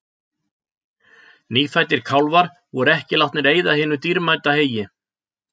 Nýfæddir kálfar voru ekki látnir eyða hinu dýrmæta heyi.